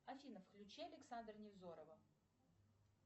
афина включи александра невзорова